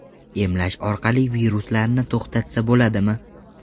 Emlash orqali viruslarni to‘xtatsa bo‘ladimi?